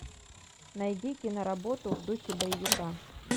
найди киноработу в духе боевика